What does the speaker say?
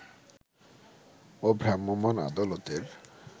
ও ভ্রাম্যমাণ আদালতের